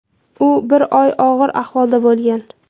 U bir oy og‘ir ahvolda bo‘lgan.